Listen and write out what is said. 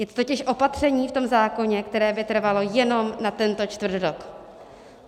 Je to totiž opatření v tom zákoně, které by trvalo jenom na tento čtvrtrok.